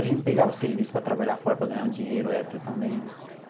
A gente pegava serviço para trabalhar fora, para ganhar um dinheiro extra também.